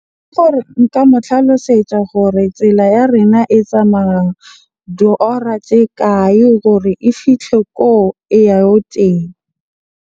Ke gore nka mo tlhalosetsa gore tsela ya rena e tsamaya diora tse kae gore e fihle ko e ya go teng.